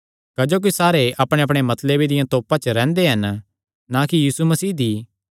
क्जोकि सारे अपणे मतलबे दिया तोपा च रैंह्दे हन ना कि यीशु मसीह दी